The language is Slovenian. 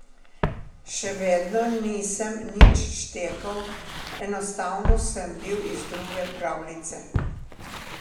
Še vedno nisem nič štekal, enostavno sem bil iz druge pravljice.